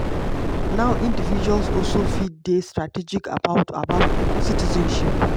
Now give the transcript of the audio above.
now individuals also fit dey strategic about about citizenship.